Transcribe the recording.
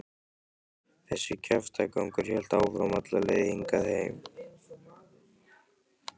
Þessi kjaftagangur hélt áfram alla leið hingað heim.